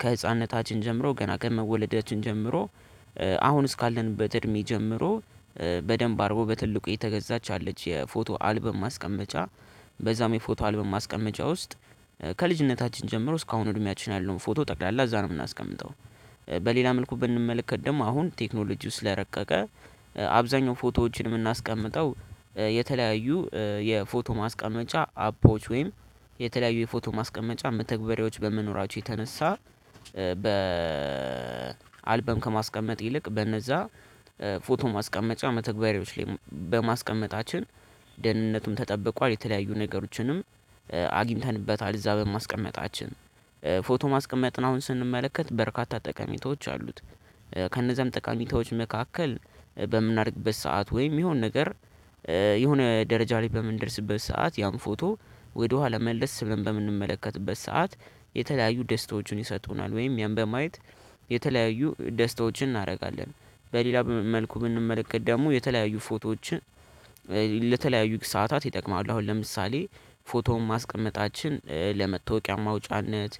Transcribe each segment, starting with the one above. ከህፃንነታችን ጀምሮ ገና ከመወለዳችን ጀምሮ አሁን እስካለንበት እድሜ ጀምሮ በደንብ አርቦ በትልቁ የተገዛች አለች የፎቶ አልበም ማስቀመጫ በዛም የፎቶ አልበም ማስቀመጫ ውስጥ ከልጅነታችን ጀምሮ እስካሁን በእድሚያቺን ያለውን ፎቶ ጠቅላላ እዛ ነው የምናስቀምጠው። በሌላ መልኩ ብንመለከት ደግሞ አሁን ቴክኖሎጂው ስለረቀቀ አብዛኛው ፎቶዎችን የምናስቀምጠው የተለያዩ የፎቶ ማስቀመጫ አፖች ወይም የተለያዩ የፎቶ ማስቀመጫ መተግበሬዎች በመኖራቸው የተነሳ በ አልበም ከማስቀመጥ ይልቅ በነዛ ፎቶ ማስቀመጫ መተግበሪያዎች ላይ በማስቀመጣችን ደህንነቱም ተጠብቋል የተለያዩ ነገሮችንም አግኝተንበታል እዛ በማስቀመጣችን ፎቶ ማስቀመጥ ነው አሁን ስንመለከት በርካታ ጠቃሚቶች አሉት። ከነዛም ጠቃሚቶች መካከል በምናደርግበት ሰዓት ወይም የሆነ ነገር የሆነ ደረጃ ላይ በምንደርስበት ሰዓት ያም ፎቶ ወደኋላ መለስ ብለን በምንመለከትበት ሰዓት የተለያዩ ደስታዎችን ይሰጡናል ወይም ያን በማየት የተለያዩ ደስታዎችን እናደርጋለን። በሌላ መልኩ ብንመለከት ደግሞ የተለያዩ ፎቶዎችን ለተለያዩ ሰዓታት ይጠቅማሉ አሁን ለምሳሌ ፎቶውን ማስቀመጣችን ለመታወቂያ ማውጫነት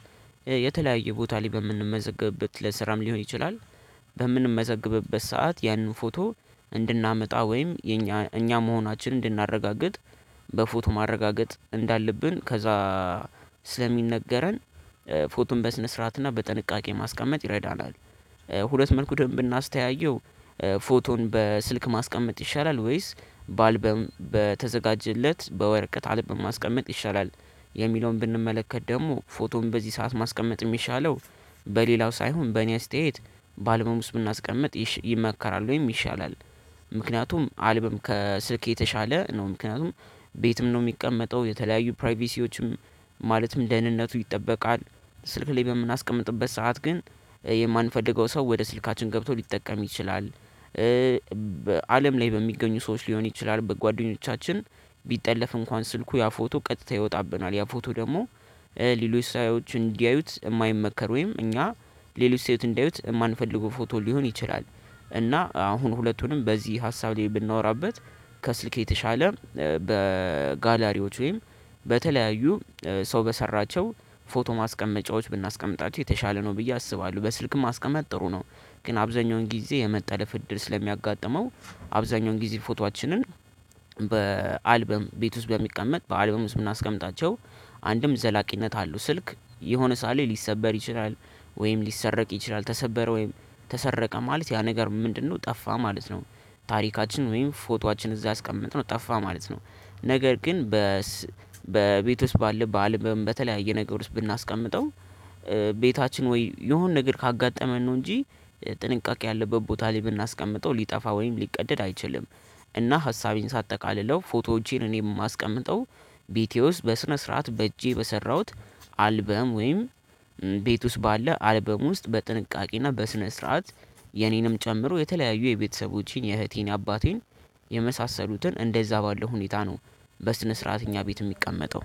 የተለያየ ቦታ ላይ በምንመዘግብበት ለስራም ሊሆን ይችላል። በምንመዘግብበት ሰዓት ያንን ፎቶ እንድናመጣ ወይም እኛ እኛ መሆናችንን እንድናረጋግጥ በፎቶ ማረጋገጥ እንዳለብን ከዛ ስለሚነገረን ፎቶም በስነ ስርዓትና በጥንቃቄ ማስቀመጥ ይረዳናል። ሁለት መልኩ ደንብ እናስተያየው። ፎቶን በስልክ ማስቀመጥ ይሻላል ወይስ በአልበም በተዘጋጀለት በወርቅ አልበም ማስቀመጥ ይሻላል? የሚለውን ብንመለከት ደግሞ ፎቶም በዚህ ሰዓት ማስቀመጥ የሚሻለው በሌላው ሳይሆን በእኔ አስተያየት በአልበም ውስጥ ብናስቀምጥ ይመከራል ወይም ይሻላል። ምክንያቱም አልብም ከስልክ የተሻለ ነው ምክንያቱም ቤትም ነው የሚቀመጠው የተለያዩ ፕራይቬሲዎችም ማለትም ደህንነቱ ይጠበቃል። ስልክ ላይ በምናስቀምጥበት ሰዓት ግን የማንፈልገው ሰው ወደ ስልካችን ገብቶ ሊጠቀም ይችላል። በአለም ላይ በሚገኙ ሰዎች ሊሆን ይችላል በጓደኞቻችን ቢጠለፍ እንኳን ስልኩ ያ ፎቶ ቀጥታ ይወጣብናል ያ ፎቶ ደግሞ። ሌሎች ሰዎች እንዲያዩት የማይመከር ወይም እኛ ሌሎች ሰዎች እንዲያዩት የማንፈልገው ፎቶ ሊሆን ይችላል። እና አሁን ሁለቱንም በዚህ ሀሳብ ላይ ብናወራበት ከስልክ የተሻለ በጋላሪዎች ወይም በተለያዩ ሰው በሰራቸው ፎቶ ማስቀመጫዎች ብናስቀምጣቸው የተሻለ ነው ብዬ አስባለሁ በስልክም አስቀመጥ ጥሩ ነው። ግን አብዛኛውን ጊዜ የመጠለፍ እድል ስለሚያጋጥመው አብዛኛውን ጊዜ ፎቶአችንን በአልበም ቤት ውስጥ በሚቀመጥ በአልበም ውስጥ የምናስቀምጣቸው አንድም ዘላቂነት አለው። ስልክ የሆነ ሳሌ ሊሰበር ይችላል ወይም ሊሰረቅ ይችላል ተሰበረ ወይም ተሰረቀ ማለት ያ ነገር ምንድነው ጠፋ ማለት ነው። ታሪካችን ወይም ፎቶአችን እዛ አስቀምጠን ነው ጠፋ ማለት ነው። ነገር ግን በ በቤት ውስጥ ባለ በተለያየ ነገር ውስጥ ብናስቀምጠው ቤታችን ወይ የሆነ ነገር ካጋጠመን ነው እንጂ ጥንቃቄ ያለበት ቦታ ላይ ብናስቀምጠው ሊጠፋ ወይም ሊቀደድ አይችልም። እና ሀሳቤን ሳጠቃልለው ፎቶዎቼን እኔ የማስቀምጠው ቤቴ ውስጥ በስነ ስርዓት በእጄ በሰራሁት አልበም ወይም ቤት ውስጥ ባለ አልበሙ ውስጥ በጥንቃቄና በስነ ስርዓት የኔንም ጨምሮ የተለያዩ የቤተሰቦቼን የእህቴን የአባቴን የመሳሰሉትን እንደዛ ባለው ሁኔታ ነው። በስነ ስርዓት እኛ ቤት የሚቀመጠው